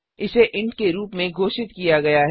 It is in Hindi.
इसे इंट के रूप में घोषित किया गया है